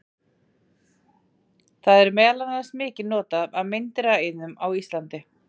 Það er meðal annars mikið notað af meindýraeyðum á Íslandi.